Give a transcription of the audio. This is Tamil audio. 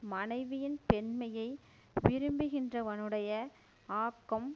மனைவியின் பெண்மையை விரும்புகின்றவனுடைய ஆக்கம்